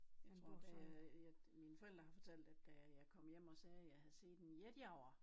Jeg tror da jeg mine forældre har fortalt at da jeg kom hjem og sagde at jeg havde set en jetjager